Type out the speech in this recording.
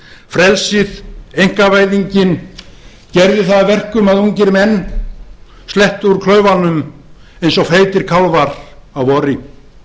frelsið einkavæðingin gerði það að verkum að ungir menn slettu úr klaufunum eins og feitir kálfar að vori þeir